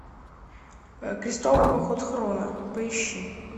крестовый поход хроно поищи